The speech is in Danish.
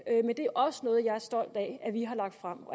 men det er også noget jeg er stolt af at vi har lagt frem